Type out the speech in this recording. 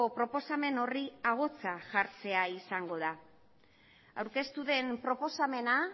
proposamen horri ahotsa jartzea izango da aurkeztu den proposamena